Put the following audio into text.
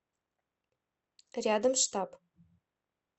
рядом штаб